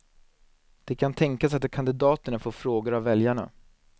Det kan tänkas att kandidaterna får frågor av väljarna.